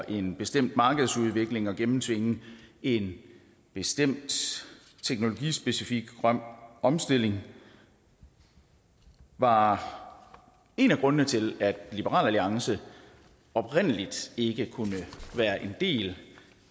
en bestemt markedsudvikling og gennemtvinge en bestemt teknologispecifik grøn omstilling var en af grundene til at liberal alliance oprindelig ikke kunne være en del